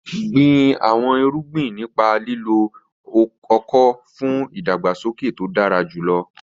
Gbin àwọn irúgbìn nípa lílo ọ̀kọ̀ fún ìdàgbàsókè tó dára jùlọ.